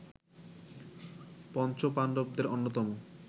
পঞ্চপাণ্ডবদের অন্যতম